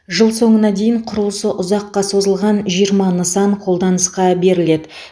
жыл соңына дейін құрылысы ұзаққа созылған жиырма нысан қолданысқа беріледі